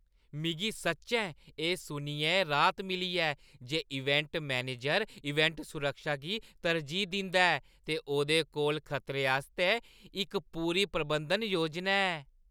मिगी सच्चैं एह् सुनियै राहत मिली ऐ जे इवेंट मैनेजर इवेंट सुरक्षा गी तरजीह् दिंदा ऐ ते ओह्दे कोल खतरें आस्तै इक पूरी प्रबंधन योजना ऐ।